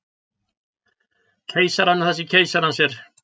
Keisaranum það sem keisarans er.